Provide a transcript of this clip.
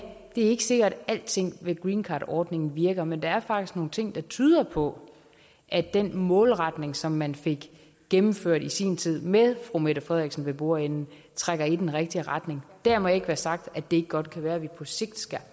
ikke sikkert at alting ved greencardordningen virker men der er faktisk nogle ting der tyder på at den målretning som man fik gennemført i sin tid med fru mette frederiksen ved bordenden trækker i den rigtige retning dermed ikke være sagt at det ikke godt kan være at vi på sigt skal